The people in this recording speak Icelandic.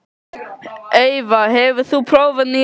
Eyva, hefur þú prófað nýja leikinn?